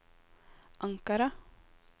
Ankara